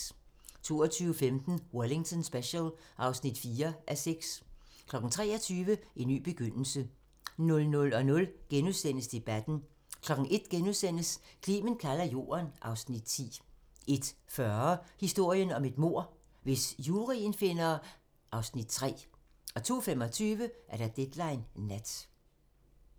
22:15: Wellington Special (4:6) 23:00: En ny begyndelse 00:00: Debatten * 01:00: Clement kalder Jorden (Afs. 10)* 01:40: Historien om et mord - Hvis juryen finder... (Afs. 3) 02:25: Deadline Nat